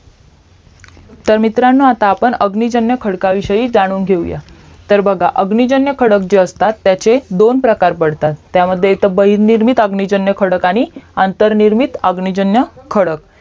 तर मित्रांनो आता अग्निजन्य खडकविषयी जाणून घेऊ या तर बघा अग्निजन्य खडक जे असतात त्याचे दोन प्रकार पडतात त्यामध्ये एक बाहिर निर्मित अग्निजन्य खडक आणि अंतरनिर्मित अग्निजन्य खडक